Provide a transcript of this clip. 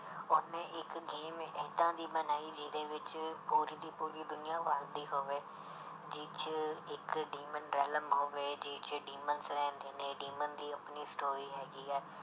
ਉਹਨੇ ਇੱਕ game ਏਦਾਂ ਦੀ ਬਣਾਈ ਜਿਹਦੇ ਵਿੱਚ ਪੂਰੀ ਦੀ ਪੂਰੀ ਦੁਨੀਆਂ ਵਸਦੀ ਹੋਵੇ, ਜਿਹ 'ਚ ਇੱਕ demon realm ਹੋਵੇ ਜਿਹ 'ਚ demons ਰਹਿੰਦੇ ਨੇ demon ਦੀ ਆਪਣੀ story ਹੈਗੀ ਹੈ